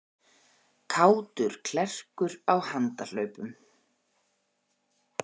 Kátur klerkur á handahlaupum